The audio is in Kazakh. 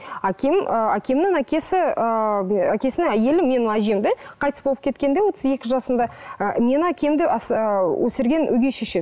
әкем ы әкемнің әкесі ыыы әкесінің әйелі менің әжем де қайтыс болып кеткенде отыз екі жасында ы менің әкемді ы өсірген өгей шеше